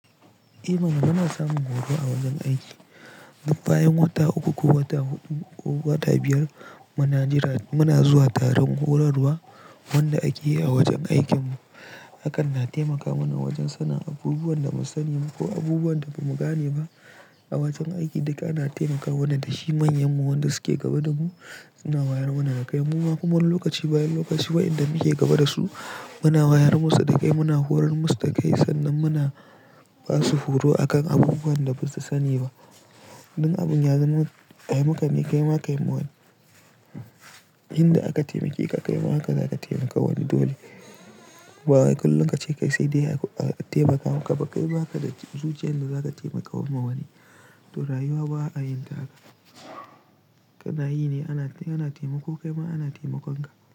Eh mana muna samun horo a wajen aiki. Bayan wata uku ko wata hudu koh wata biyar muna zuwa taron horarwa wanda ake yi a wajen aikinmu. Hakan na taimaka mana wajen sanin abubuwan da muka sani ko abubuwan da ba mu gane ba a wajen aiki. Duk ana taimaka mana da shi, manyanmu wanda suke gaba da mu. Suna wayar mana da kai muma kuma wani lokaci bayan lokaci wayanda muke gaba da su muna wayar musu da kai muna horar musu da kai sannan muna basu horo akan abubuwan da basu sani ba. Dan abin ya zama ai muka ni kaima kaima wani. Inda aka taimake ka kaima haka zaka taimakawa wani dole. Ba wai kullum kace kai sai dai a taimakawa kai baka da zuciyan da zaka taimakawa ma wani. To rayuwa ba a yin taka. Kana yi ne ana taimako kaima ana taimakon ka.